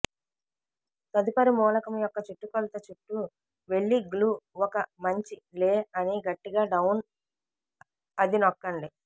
తదుపరి మూలకం యొక్క చుట్టుకొలత చుట్టూ వెళ్ళి గ్లూ ఒక మంచి లే అని గట్టిగా డౌన్ అది నొక్కండి